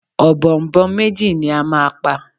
Ọ̀bọ̀ọ̀nbọọ̀n méjì ni a máa pa.